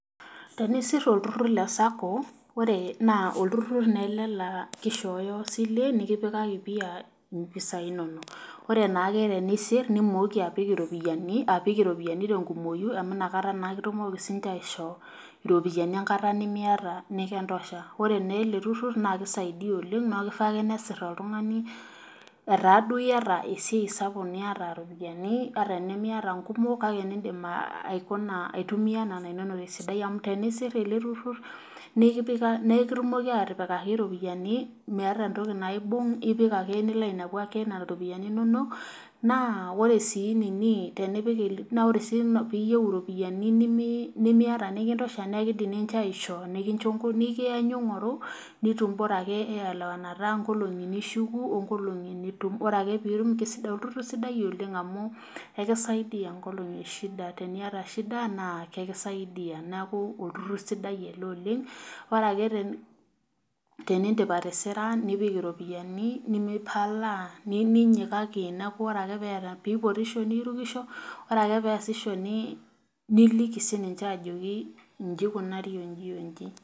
Tenisir olturur le saaco naa olturur naa ele laa kishoyo isilen nikipikaki mpisai inonok .ore naake tenisir nommoki apik iropiyiani tenkumoki amu inakata naa kitumoki siininche aisho iropiyiani enkata memiata nikintosha ,ore naa ele turur naa keisaidia oleng neeku keifaa nesir oltungani etaa duo iyata esiai sapuk niyata ropiani ata tenimiata inkumok kake nidim aitumiyia nena inonok ,kake ore pee isir ele turur naa ekipikaki iropiyiani meeta entoki naibung ipik ake nilo ake ainepu nena ropiani inonok ,naa ore sii pee iyieu iropiani nimiyata nikintosha naa ekindim ninche aishoo nikiyanyu ingoru borake eelewanata inkolongi nishuku onkolongi nitum ore ake pee itum keisidai. olturur sidai oleng amu ekisaidia nkolongi kumok teneiata shida naa ekisaidia .neeku olturur siadi ele oleng ore ake tenindip atisira nipik iropiyiani nemipalaa neminyikaki neeku ore ake pee epotisho nirukisho ore ake pee eesisho niliki ninche ajoki inji eikunari oji oji.